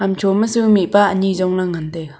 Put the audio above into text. hamcho ma su mihpa ni jongla ngantaiga.